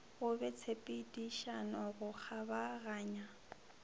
go be tshepedišano go kgabaganya